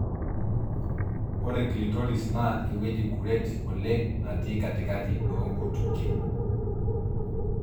ore clitoris na eweuji kuret oleng natii katikati onkutikie,